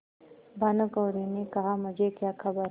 भानुकुँवरि ने कहामुझे क्या खबर